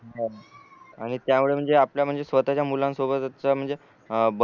हो